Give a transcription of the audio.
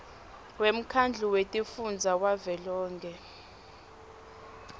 wemkhandlu wetifundza wavelonkhe